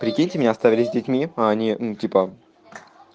прикиньте мне оставили с детьми а они ну типа